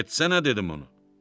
Getsənə dedim ona.